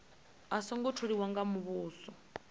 a songo tholiwa nga muvhuso